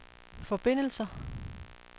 forbindelser